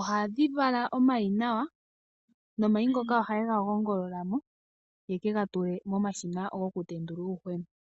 Ohadhi vala omayi nomayi ngoka ohaye ga gongolola mo ye ke ga tule momashina gokutendula uuyuhwena.